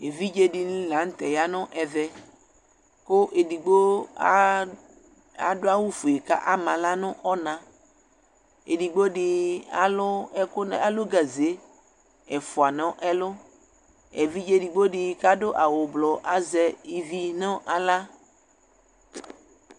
Evidzedini la nu tɛ yanu ɛvɛ ku edigbo adu awu fue ku ama aɣla nu ɔna edigbo alu ɛku alu gaze ɛfua nu ɛlu evidze edigbo kadu awu blu azɛ ivi nu aɣla